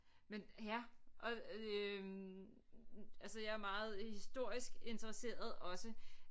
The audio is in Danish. Men ja og øh altså jeg er meget historisk interesseret også